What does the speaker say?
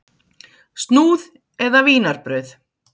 Snúð eða vínarbrauð?